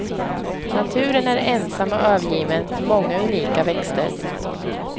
Naturen är ensam och övergiven med många unika växter.